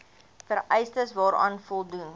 vereistes waaraan voldoen